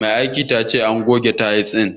Mai aikin ta ce an goge tayil din.